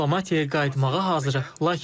Biz diplomatiyaya qayıtmağa hazırıq,